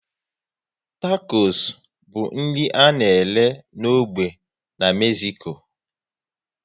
Takos bụ nri a na-ere n'ógbè n'Mezico